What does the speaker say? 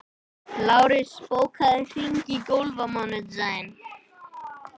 Lárus, bókaðu hring í golf á mánudaginn.